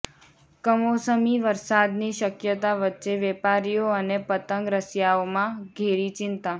કમોસમી વરસાદની શકયતા વચ્ચે વેપારીઓ અને પતંગ રસિયાઓમાં ઘેરી ચિંતા